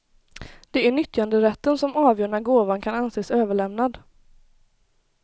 Det är nyttjanderätten som avgör när gåvan kan anses överlämnad.